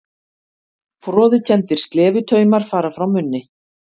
Froðukenndir slefutaumar fara frá munni.